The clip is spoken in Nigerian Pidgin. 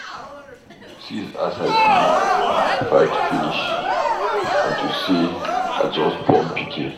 See as I do fat finish unto say I just born pikin.